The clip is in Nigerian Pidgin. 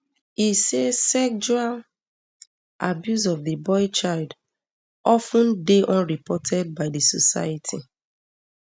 e say sexual um abuse of di boy child of ten dey unreported by di society um